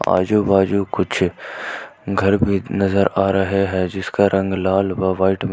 आजू बाजू कुछ घर भी नजर आ रहे हैं जिसका रंग लाल वा वाईट में है।